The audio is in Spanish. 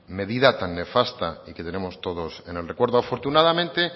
medida tan nefasta y que tenemos todos en el recuerdo afortunadamente